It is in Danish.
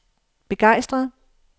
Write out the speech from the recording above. begejstret